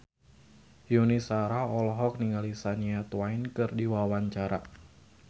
Yuni Shara olohok ningali Shania Twain keur diwawancara